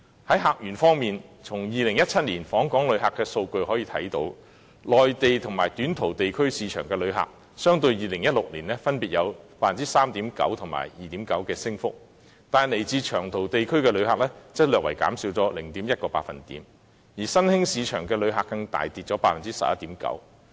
在客源方面，從2017年訪港旅客的數據可見，內地和短途地區市場的旅客，相對於2016年分別有 3.9% 及 2.9% 的升幅，但來自長途地區的旅客則略為減少 0.1%， 而新興市場的旅客更大跌 11.9%。